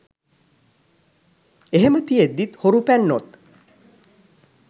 එහෙම තියෙද්දිත් හොරු පැන්නොත්